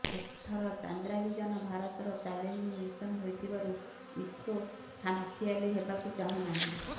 ଏଥର ଚନ୍ଦ୍ରାଭିଯାନ ଭାରତର ଚାଲେଞ୍ଜିଙ୍ଗ୍ ମିସନ୍ ହୋଇଥିବାରୁ ଇସ୍ରୋ ଖାମ୍ଖିଆଲି ହେବାକୁ ଚାହୁଁନାହିଁ